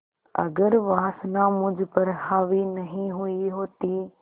अगर वासना मुझ पर हावी नहीं हुई होती